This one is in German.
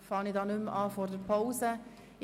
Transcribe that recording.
Deshalb fangen wir nicht vor der Pause damit an.